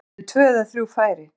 Hann átti tvö eða þrjú færi.